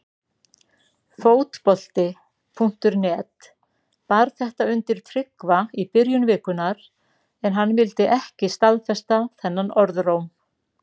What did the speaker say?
Fótbolti.net bar þetta undir Tryggva í byrjun vikunnar en hann vildi ekki staðfesta þennan orðróm.